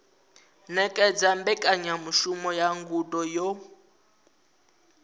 ṅetshedza mbekanyamushumo ya ngudo yo